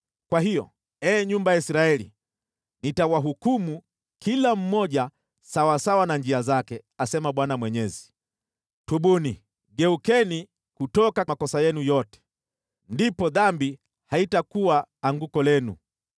“Kwa hiyo, ee nyumba ya Israeli, nitawahukumu, kila mmoja sawasawa na njia zake, asema Bwana Mwenyezi. Tubuni! Geukeni kutoka makosa yenu yote, ndipo dhambi haitakuwa anguko lenu.